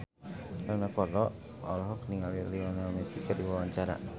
Rano Karno olohok ningali Lionel Messi keur diwawancara